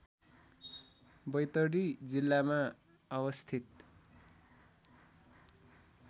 बैतडी जिल्लामा अवस्थित